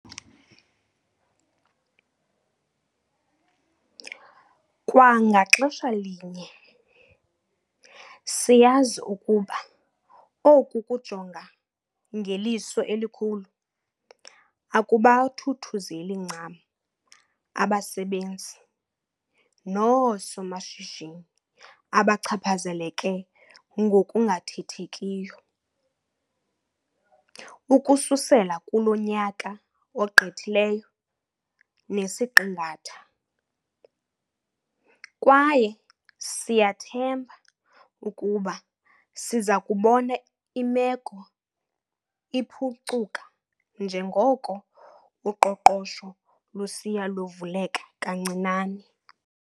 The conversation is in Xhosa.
Kwa ngaxesha linye, siyazi ukuba oku kujonga 'ngeliso elikhulu' akubathuthuzeli ncam abasebenzi noosomashishini abachaphazeleke ngokungathethekiyo, ukususela kulo nyaka ogqithileyo nesiqingatha. Kwaye siyathemba ukuba sizakubona imeko iphukcuka njengoko uqoqosho lusiya luvuleka kancinane.